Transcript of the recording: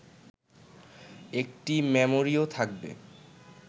একটি মেমোরিও থাকবে